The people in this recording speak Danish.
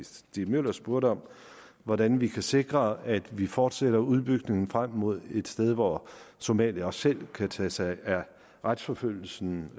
stig møller spurgte om hvordan vi kan sikre at vi fortsætter udbygningen frem mod et sted hvor somalia også selv kan tage sig af retsforfølgelse